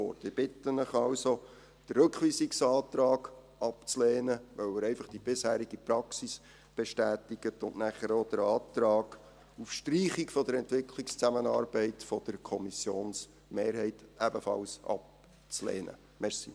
Ich bitte Sie also, den Rückweisungsantrag abzulehnen, weil er einfach die bisherige Praxis bestätigt, und danach ebenfalls den Antrag der Kommissionsmehrheit auf Streichung der Entwicklungszusammenarbeit abzulehnen.